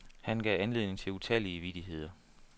Han gav anledning til utallige vittigheder.